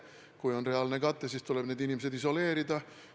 Kui on reaalne kate, siis tuleb need inimesed isoleerida.